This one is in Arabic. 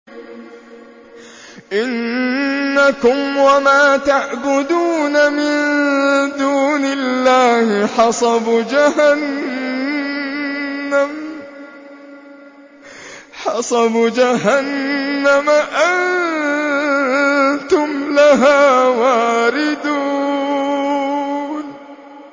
إِنَّكُمْ وَمَا تَعْبُدُونَ مِن دُونِ اللَّهِ حَصَبُ جَهَنَّمَ أَنتُمْ لَهَا وَارِدُونَ